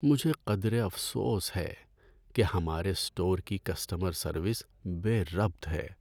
مجھے قدرے افسوس ہے کہ ہمارے اسٹور کی کسٹمر سروس بے ربط ہے۔